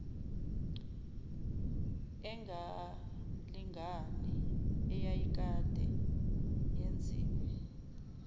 engalingani eyayikade yenziwe